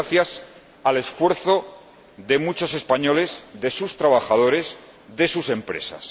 Ha sido gracias al esfuerzo de muchos españoles, de sus trabajadores, de sus empresas.